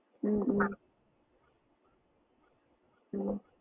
ஹம் உம் ஹம்